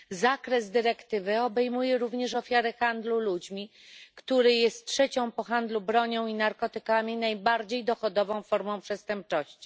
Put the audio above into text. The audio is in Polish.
Zakres dyrektywy obejmuje również ofiary handlu ludźmi, który jest trzecią po handlu bronią i narkotykami, najbardziej dochodową formą przestępczości.